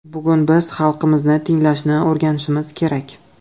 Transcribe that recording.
Bugun biz xalqimizni tinglashni o‘rganishimiz kerak.